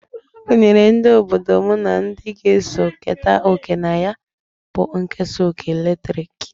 Ha gunyere ndi obodo m na ndi g'eso keta oke na ya bụ nkesa ọkụ latrịk.